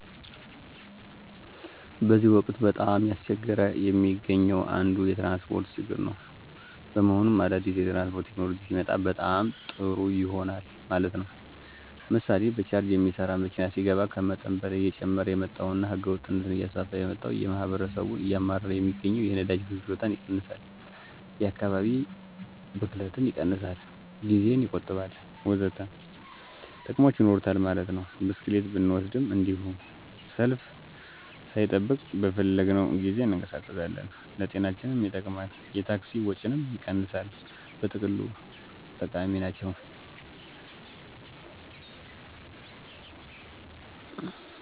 በዚህ ወቅት በጣም እያስቸገረ የሚገኘው አንዱ የትራንስፖርት ችግር ነው። በመሆኑም አዳዲስ የትራንስፖርት ቴክኖሎጂ ሲመጣ በጣም ጦሩ ይሆናል ማለት ነው። ምሥሌ በቻርጅ ሚሠራ መኪና ሲገባ ከመጠን በላይ እየጨመረ የመጣውንና ህገወጥነትን እያስፋፋ የመጣውን እና ማህበረሠቡን እያማረረ ሚገኘውን የነዳጅ ፍጆታን ይቀንሣል፣ የ ከካባቢ ብክለትን ይቀንሣል፣ ጊዜን ይቆጥባል።........ወዘተ ጥቅሞች ይኖሩታል ማለት ነው። ብስክሌትን ብንወሰድም እንዱሁ፦ ሰልፍ ሣንጠብቅ በፈለግነው ጊዜ እንቀሣቀሳለን፣ ለጤናችንም ይጠቅማል፣ የታክሲ ወጭንም ይቀንሣል በጥቅሉ ጠቃሚ ናቸው።